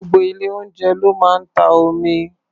Gbogbo ilé-oúnjẹ ló máa ń ta omi.